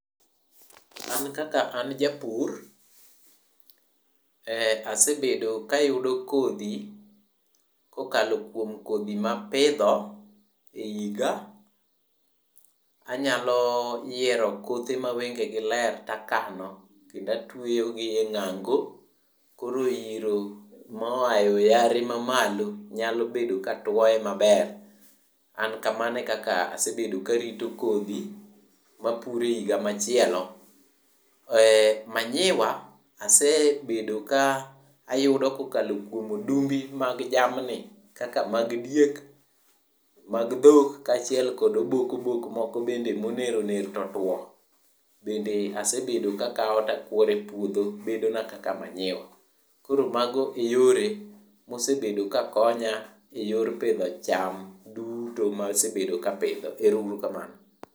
An kaka an japur, asebedo kayudo kodhi kokalo kuom kodhi ma apidho e iga, anyalo yiero kothe ma wengegi ler takano kendo atweyo gi e ng'ango koro iro moa e oyare ma malo nyalo bedo ka tuoye maber. An kamano e kaka asebedo ka arito kodhi ma apuro e higa machielo. Manyiwa asebedo ka ayudo kokalo kuom odumbi mag jamni kaka mag diek, mag dhok kachiel kod obok obok moko bende ma oner oner to otuo bende asebedo ka akaw to apuoro e puodho bedo na kaka manyuya. Koro mago e yore mosebedo ka konya e yor pidho cham duto masebedo ka apidho, ero uru kamano